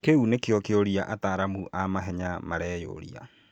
Kĩu nĩkĩo kĩũria ataaramu a mahenya mareyũria